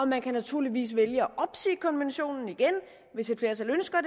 man kan naturligvis vælge at opsige konventionen igen hvis et flertal ønsker